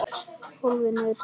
Hólfin þau teljast víst tólf.